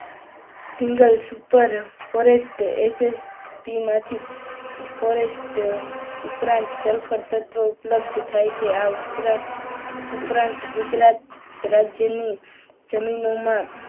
single super phosphate SSP માંથી ફોરેસ્ટ ઉપરાંત સલ્ફર તત્વો ઉપલબ્ધ થાય છે. આ ઉપરાંત ગુજરાત રાજ્યનું જમીનોમાં,